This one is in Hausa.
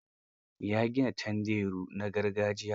Ya gina tanderu na gargajiya.